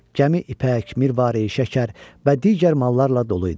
Gəmi ipək, mirvari, şəkər və digər mallarla dolu idi.